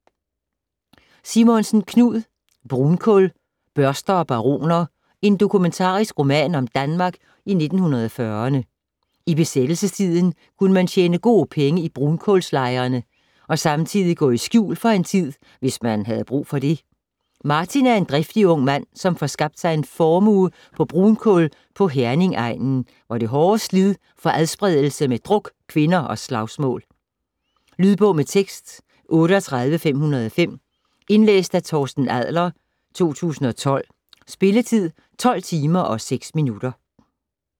Simonsen, Knud: Brunkul: børster og baroner: en dokumentarisk roman om Danmark i 1940'erne I besættelsestiden kunne man tjene gode penge i brunkulslejerne og samtidig gå i skjul for en tid, hvis man havde brug for det. Martin er en driftig ung mand, som får skabt sig en formue på brunkul på Herningegnen, hvor det hårde slid får adspredelse med druk, kvinder og slagsmål. Lydbog med tekst 38505 Indlæst af Torsten Adler, 2012. Spilletid: 12 timer, 6 minutter.